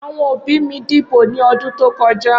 Awọn obi mi dibo ni ọdun to kọja.